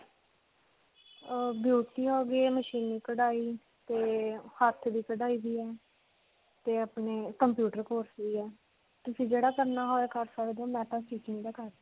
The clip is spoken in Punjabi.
ਅਅ ਹੋ ਗਈ, ਮਸ਼ੀਨੀ ਕਢਾਈ, ਤੇ ਹੱਥ ਦੀ ਕਢਾਈ ਵੀ ਹੈ ਤੇ ਆਪਣੇ computer course ਵੀ ਹੈ. ਤੁਸੀਂ ਜਿਹੜਾ ਕਰਨਾ ਹੋਏ ਕਰ ਸਕਦੇ ਹੋ .